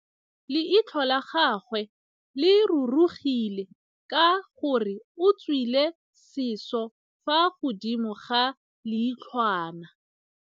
Leitlhô la gagwe le rurugile ka gore o tswile sisô fa godimo ga leitlhwana.